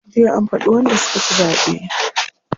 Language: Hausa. Jiya an faɗi wanda suka ci zaɓe.